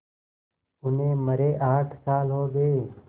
उन्हें मरे आठ साल हो गए